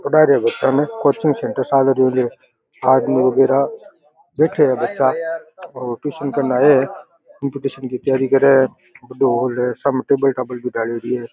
पढ़ा रहा है बच्चा ने कोचिंग सेंटर आदमी वगैरा बैठा है टुसन करण आया है बड़ो हॉल है। --